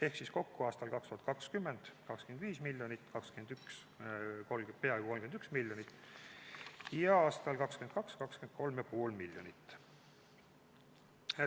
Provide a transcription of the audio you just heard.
Ehk siis kokku aastal 2020 – 25 miljonit, 2021 – peaaegu 31 miljonit ja aastal 2022 – 23,5 miljonit.